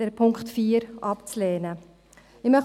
Den Punkt 4 lehnen wir ab.